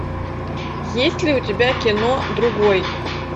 есть ли у тебя кино другой